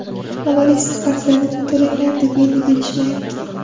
Avval eski qarzlaringni to‘langlar, deb endi berishmayapti.